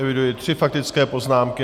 Eviduji tři faktické poznámky.